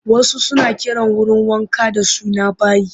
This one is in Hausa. Wasu suna kiran wurin wanka da suna bayi